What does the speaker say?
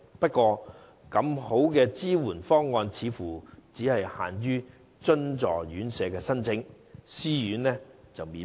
不過，這麼好的支援方案，只限津助院舍申請，私營院舍則免問。